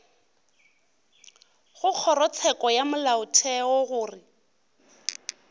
go kgorotsheko ya molaotheo gore